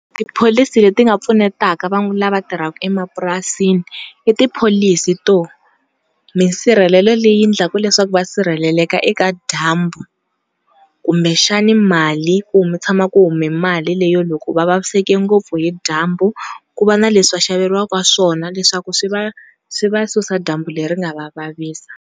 Tipholisi leti nga pfunetaka lava tirhaka emapurasini i tipholisi to misirhelelo leyi endlaka leswaku va sirheleleka eka dyambu kumbe xana mali ku mi tshama ku hume mali leyi loko va vaviseke ngopfu hi dyambu ku va na leswi va xaveriwaka swona leswaku swi va susa dyambu leri nga va vavisa.